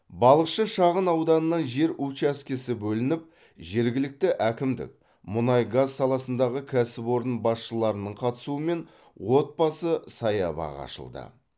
балықшы шағын ауданынан жер учаскесі бөлініп жергілікті әкімдік мұнай газ саласындағы кәсіпорын басшыларының қатысуымен отбасы саябағы ашылды